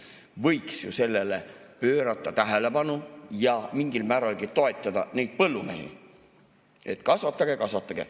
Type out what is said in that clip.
Võiks ju sellele pöörata tähelepanu ja mingilgi määral toetada põllumehi, et kasvatage, kasvatage.